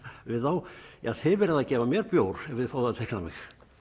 við þá ja þið verðið að gefa mér bjór ef þið fáið að teikna mig